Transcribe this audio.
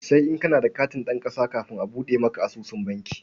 Sai in kana da katin zama ɗan ƙasa kafin a buɗe maka asusun banki.